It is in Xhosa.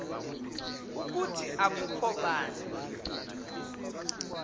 ukuthi akukho bani